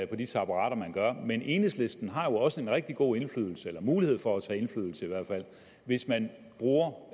på de taburetter man gør men enhedslisten har også en rigtig god indflydelse eller mulighed for at tage indflydelse hvis man bruger